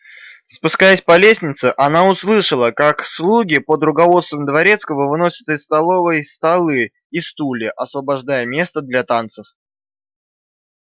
спускаясь по лестнице она услышала как слуги под руководством дворецкого выносят из столовой столы и стулья освобождая место для танцев